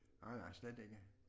Nej nej slet ikke